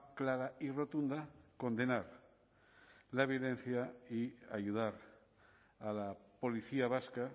clara y rotunda condenar la violencia y ayudar a la policía vasca